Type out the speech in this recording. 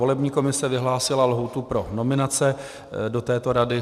Volební komise vyhlásila lhůtu pro nominace do této rady.